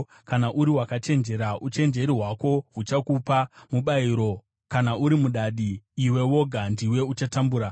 Kana uri wakachenjera, uchenjeri hwako huchakupa mubayiro; kana uri mudadi, iwe woga ndiwe uchatambura.”